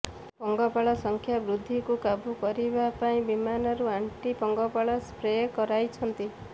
ପଙ୍ଗପାଳ ସଂଖ୍ୟା ବୃଦ୍ଧିକୁ କାବୁ କରିବା ପାଇଁ ବିମାନରୁ ଆଣ୍ଟି ପଙ୍ଗପାଳ ସ୍ପ୍ରେ କରାଇଛନ୍ତି